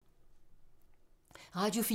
Radio 4